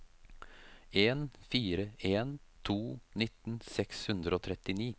en fire en to nitten seks hundre og trettini